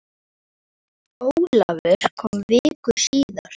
Ólafur kom viku síðar.